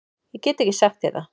Ég get ekki sagt þér það.